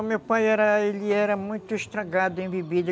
O meu pai era, ele era muito estragado em bebida.